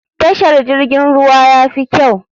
Tashar jirgin ruwa yafi kyau.